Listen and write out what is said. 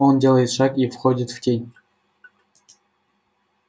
он делает шаг и входит в тень